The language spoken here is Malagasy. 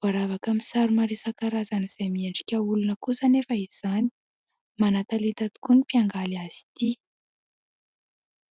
Voaravaka amin'ny sary maro isan-karazany izay miendrika olona kosa anefa izany. Manan-talenta tokoa ny mpiangaly azy ity.